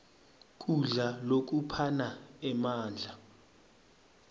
kudla lokuphana emandla